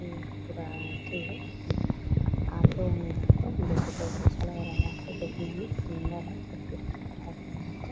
ये पूरा एथी है ऑटो है यहाँ पर लोग जो कि बहुत अच्छा लग रहा है यहाँ पे देखने में सुंदर है सब कुछ ठीक-ठाक है यहाँ पर।